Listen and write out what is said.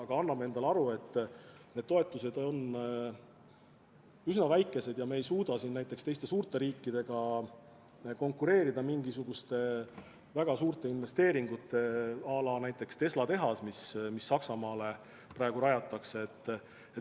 Aga me anname endale aru, et need toetused on üsna väikesed ja me ei suuda suurte riikidega konkureerida, tehes mingisuguseid väga suuri investeeringuid, à la näiteks Tesla tehas, mida Saksamaale praegu rajatakse.